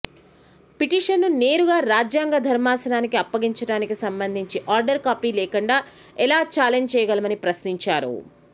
పిటిషన్ను నేరుగా రాజ్యాంగ ధర్మాసనానికి అప్పగించడానికి సంబంధించి ఆర్డర్ కాపీ లేకుండా ఎలా ఛాలెంజ్ చేయగలమని ప్రశ్నించారు